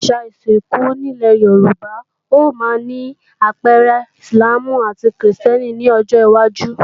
Àwọn àṣà ìsìnkú nílé Yorùbá yóò máa ní àpẹẹrẹ Íslàmù àti krìstẹ́nì ní ọjọwájú